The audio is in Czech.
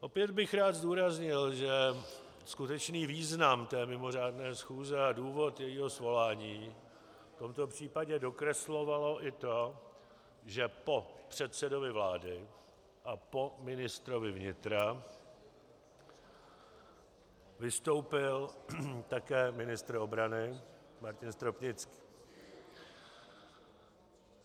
Opět bych rád zdůraznil, že skutečný význam té mimořádné schůze a důvod jejího svolání v tomto případě dokreslovalo i to, že po předsedovi vlády a po ministrovi vnitra vystoupil také ministr obrany Martin Stropnický.